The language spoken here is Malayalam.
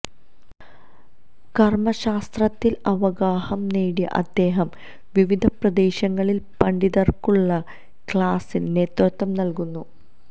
കര്മ ശാസ്ത്രത്തില് അവഗാഹം നേടിയ അദ്ദേഹം വിവിധ പ്രദേശങ്ങളില് പണ്ഡിതര്ക്കുള്ള ക്ലാസിന് നേതൃത്വം നല്കുന്നു